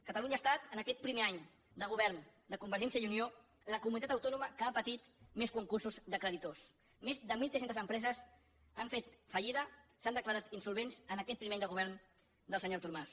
catalunya ha estat en aquest primer any de govern de convergència i unió la comunitat autònoma que ha patit més concursos de creditors més de mil tres cents empreses han fet fallida s’han declarat insolvents en aquest primer any de govern del senyor artur mas